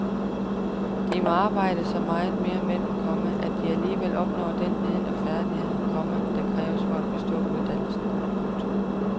De må arbejde så meget mere med dem, komma at de alligevel opnår den viden og de færdigheder, komma der kræves for at bestå uddannelsen. punktum